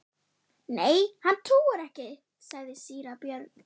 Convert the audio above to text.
Nei, hann trúir ekki, sagði síra Björn.